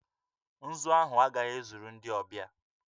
Nzu ahụ agaghị ezuru ndị ọbịa